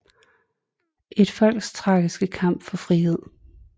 Et folks tragiske kamp for frihed